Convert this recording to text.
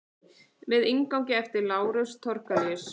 Með inngangi eftir Lárus Thorlacius.